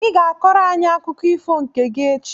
I ga-akọrọ anyị akụkọ ifo nke gị echi!